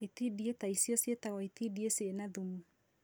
itindiĩ ta icio ciĩtagwo itindiĩ cĩĩna thumu